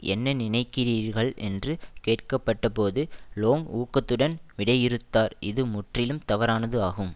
என்ன நினைக்கிறீர்கள் என்று கேட்கப்பட்டபோது லோங் ஊக்கத்துடன் விடையிறுத்தார் இது முற்றிலும் தவறானது ஆகும்